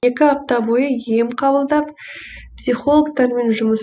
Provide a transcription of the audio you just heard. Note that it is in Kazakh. екі апта бойы ем қабылдап псхилогтармен жұмыс